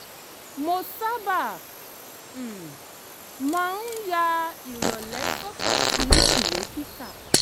mo sábà um máa ń ya ìrọ̀lẹ́ sọ́tọ̀ fún ìwé kíkà